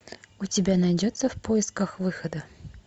у тебя найдется в поисках выхода